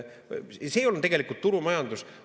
See ei olnud tegelikult turumajandus.